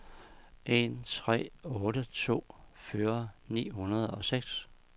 en tre otte to fyrre ni hundrede og seks